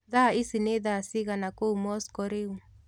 Thaa ĩcĩ nĩ thaa cĩĩgana kũũ Moscow rĩũ